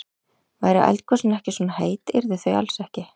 Væru eldgosin ekki svona heit, yrðu þau alls ekki.